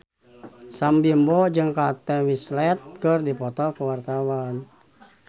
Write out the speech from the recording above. Sam Bimbo jeung Kate Winslet keur dipoto ku wartawan